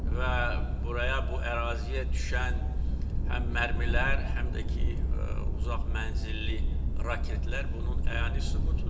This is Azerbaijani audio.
Və buraya bu əraziyə düşən həm mərmilər, həm də ki, uzaq mənzilli raketlər bunun əyani sübutudur.